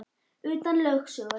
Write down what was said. Utan lögsögu